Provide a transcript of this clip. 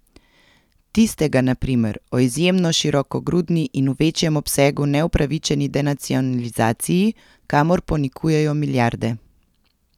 Tistega, na primer, o izjemno širokogrudni in v večjem obsegu neupravičeni denacionalizaciji, kamor ponikujejo milijarde.